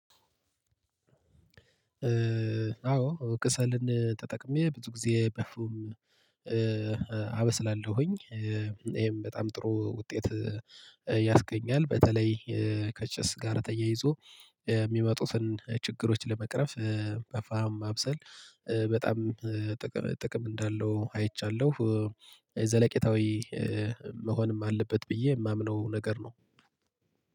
አዎ ከሰልን ተጠቅሜ ብዙ ጊዜ በፉም አበስላለሁኝ። ይሄም በጣም ጥሩ ውጤት ያስገኛል። በተለይ ከጭስ ጋር ተያይዞ የሚመጡትን ችግሮች ለመቅረፍ በፍህም ማብሰል በጣም ጥቅም ጥቅም እንዳለው አይቻለሁ። ዘለቄታዊ መሆንም አለበት ብዬ የማምነው ነገር ነው።